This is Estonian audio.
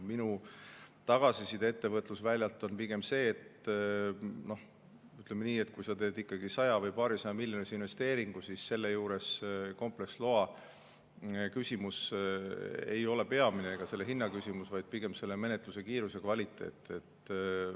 Minu tagasiside ettevõtlusväljalt on pigem see, et kui sa teed ikkagi saja- või paarisajamiljonilise investeeringu, siis selle juures kompleksloa küsimus ega selle hinna küsimus ei ole peamine, vaid pigem menetluse kiirus ja kvaliteet.